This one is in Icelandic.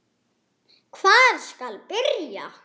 Hvar skal byrja.